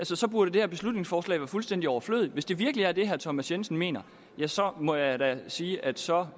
så så burde det her beslutningsforslag være fuldstændig overflødigt hvis det virkelig er det herre thomas jensen mener ja så må jeg da sige at så